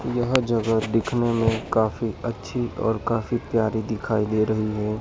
यह जगह दिखने में काफी अच्छी और काफी प्यारी दिखाई दे रही है।